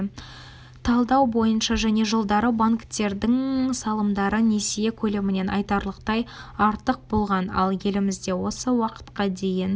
талдау бойынша және жылдары банктердің салымдары несие көлемінен айтарлықтай артық болған ал елімізде осы уақытқа дейін